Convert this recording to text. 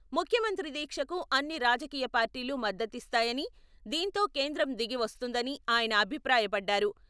ముఖ్యమంత్రి దీక్షకు అన్ని రాజకీయ పార్టీలు మద్దతిస్తాయని, దీంతో కేంద్రం దిగి వస్తుందని ఆయన అభిప్రాయపడ్డారు.